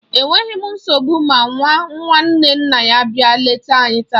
Enweghi m nsogbu ma nwa nwanne nna ya bịa leta anyi taa.